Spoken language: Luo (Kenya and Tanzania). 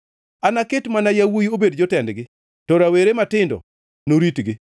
Anaket mana yawuowi obed jotendgi, to rawere matindo noritgi.